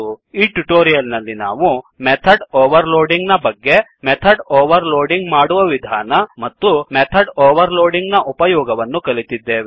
ಈ ಟ್ಯುಟೋರಿಯಲ್ ನಲ್ಲಿ ನಾವು ಮೆಥಡ್ ಒವರ್ ಲೋಡಿಂಗ್ ನ ಬಗ್ಗೆ ಮೆಥಡ್ ಒವರ್ ಲೋಡಿಂಗ್ ಮಾಡುವ ವಿಧಾನ ಮತ್ತು ಮೆಥಡ್ ಒವರ್ ಲೋಡಿಂಗ್ ನ ಉಪಯೋಗವನ್ನು ಕಲಿತಿದ್ದೇವೆ